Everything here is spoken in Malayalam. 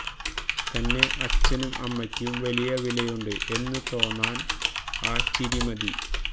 തന്നെ അ ച്ഛനും അമ്മയ്ക്കും വലിയ വിലയുണ്ട് എന്നു തോന്നാൻ ആ ചിരി മതി